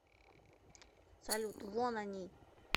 салют вон они